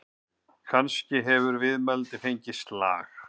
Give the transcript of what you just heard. Kannski hefur viðmælandinn fengið slag?